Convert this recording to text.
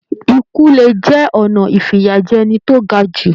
Ikú le jẹ ọnà ifiyajẹni to ga jù.